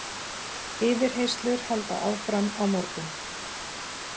Yfirheyrslur halda áfram á morgun